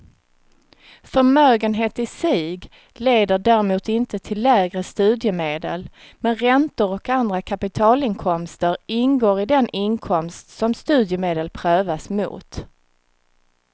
Förmögenhet i sig leder däremot inte till lägre studiemedel, men räntor och andra kapitalinkomster ingår i den inkomst som studiemedel prövas mot.